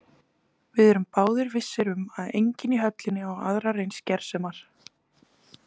Við erum báðir vissir um að enginn í höllinni á aðrar eins gersemar.